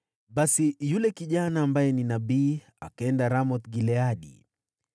Basi yule kijana nabii akaenda Ramoth-Gileadi.